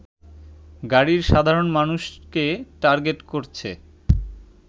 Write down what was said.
গাড়ির সাধারণ মানুষকে টার্গেট করছে